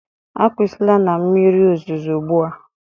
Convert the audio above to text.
Akwụsịla na mmiri ozuzo ugbu a!